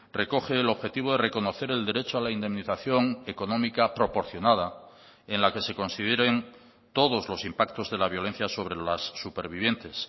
recoge el objetivo de reconocer el derecho a la indemnización económica proporcionada en la que se consideren todos los impactos de la violencia sobre las supervivientes